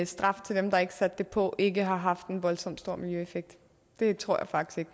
straf til dem der ikke satte det på ikke har haft en voldsomt stor miljøeffekt det tror jeg faktisk